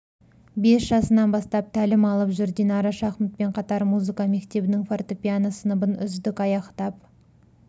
бес жасынан бастап тәлім алып жүр динара шахматпен қатар музыка мектебінің фортепиано сыныбын үздік аяқтап